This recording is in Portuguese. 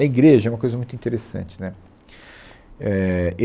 A igreja é uma coisa muito interessante. Né, éh